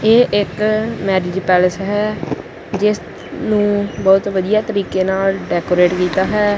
ਇਹ ਇੱਕ marriage palace ਹੈ ਜਿਸ ਨੂੰ ਬਹੁਤ ਵਧੀਆ ਤਰੀਕੇ ਨਾਲ ਡੈਕੋਰੇਟ ਕੀਤਾ ਹੈ।